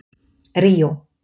Ríó